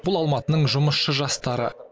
бұл алматының жұмысшы жастары